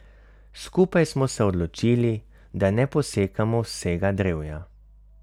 Skupaj smo se odločili, da ne posekamo vsega drevja.